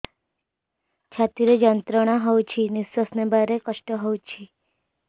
ଛାତି ରେ ଯନ୍ତ୍ରଣା ହଉଛି ନିଶ୍ୱାସ ନେବାରେ କଷ୍ଟ ହଉଛି